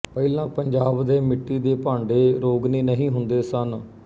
ਪਹਿਲਾਂ ਪੰਜਾਬ ਦੇ ਮਿੱਟੀ ਦੇ ਭਾਂਡੇ ਰੋਗਨੀ ਨਹੀਂ ਹੁੰਦੇ ਸਨ